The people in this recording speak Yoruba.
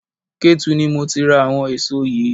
Ketu ni mo ti ra àwọn èso yìí.